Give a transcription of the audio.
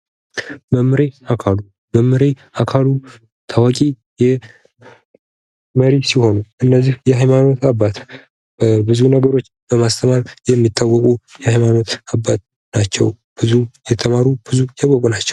መምሬ አካሉ መምሬ አካሉ ታዋቂ መሪ ሲሆኑ እነዚህ የሃይማኖት አባት ብዙ ነገሮች በማስተማር የሚታወቁ የሃይማኖት አባቶች ናቸው ብዙ የተማሩ ብዙ ያወቁ ናቸዉ።